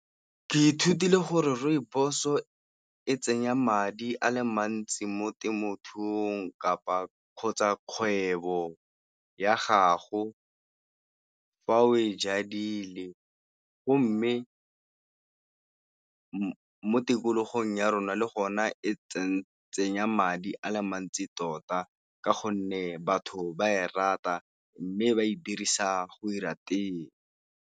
Ke ithutile gore Rooibos-o e tsenya madi a le mantsi mo temothuong kgotsa kgwebo ya gago fa oe jadile, go mme mo tikologong ya rona le go na e tsenya madi a le mantsi tota ka gonne batho ba e rata mme ba e dirisa go 'ira tee.